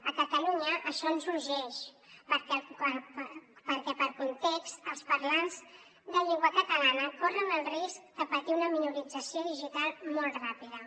a catalunya això ens urgeix perquè per context els parlants de llengua catalana corren el risc de patir una minorització digital molt ràpida